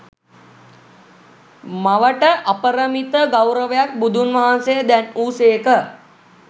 මවට අපරිමිත ගෞරවයක් බුදුන් වහන්සේ දැන් වූ සේක.